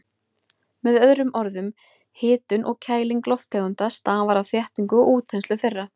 Með öðrum orðum, hitun og kæling lofttegunda stafar af þéttingu og útþenslu þeirra.